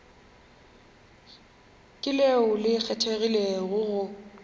ke leo le kgethegilego go